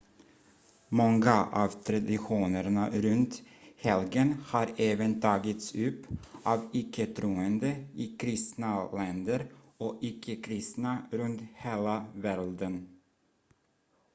många av traditionerna runt helgen har även tagits upp av icke-troende i kristna länder och icke-kristna runt hela världen